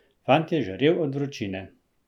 Fant je žarel od vročine.